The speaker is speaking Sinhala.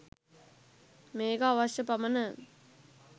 මේක අවශ්‍ය පමණ